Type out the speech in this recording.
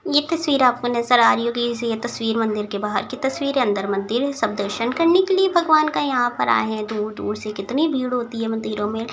ये तस्वीर आपको नजर आ रही होगी ये तस्वीर मंदिर के बाहर की तस्वीर है अंदर मंदिर है सब दर्शन करने के लिए भगवान का यहां पे आए है दूर-दूर से कितनी भीड़ होती है मंदिरों में--